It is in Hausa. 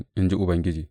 in ji Ubangiji.